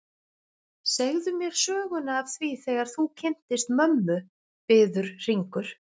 Segðu mér söguna af því þegar þú kynntist mömmu, biður Hringur.